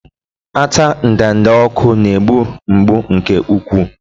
Ata ndanda ọkụ na-egbu mgbu nke ukwuu.